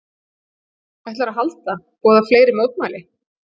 Ætlarðu að halda, boða fleiri mótmæli?